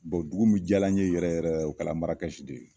dugu min jala n ye yɛrɛ yɛrɛ de o kɛla Marakɛsi de ye.